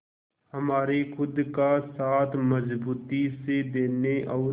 हमारे खुद का साथ मजबूती से देने और